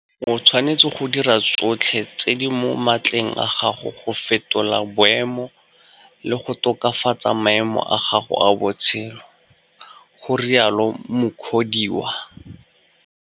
O tshwanetse go dira tsotlhe tse di mo matleng a gago go fetola boemo le go tokafatsa maemo a gago a botshelo, go rialo Mukhodiwa.